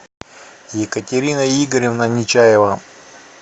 екатерина игоревна нечаева